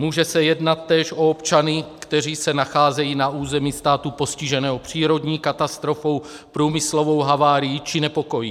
Může se jednat též o občany, kteří se nacházejí na území státu postiženého přírodní katastrofou, průmyslovou havárií či nepokoji.